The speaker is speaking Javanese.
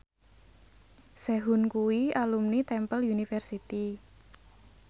Sehun kuwi alumni Temple University